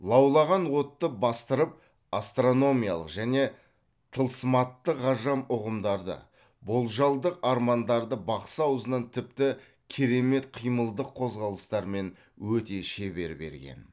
лаулаған отты бастырып астрономиялық және тылсыматтық ғажап ұғымдарды болжалдық армандарды бақсы аузынан тіпті керемет қимылдық қозғалыстармен өте шебер берген